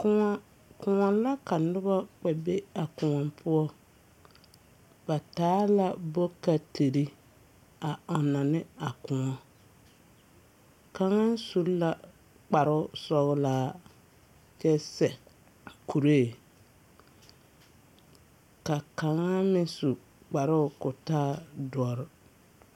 Kõɔ kõɔ la ka nobɔ kpɛ be a kõɔ poɔ. Ba taa la bokatiri a ɔnnɔ ne a kõɔ. Kaŋa su la kparOSU.ɔlaa kyɛ sɛ kuree. Ka kaŋa meŋ su kparoo k'o taa dɔr.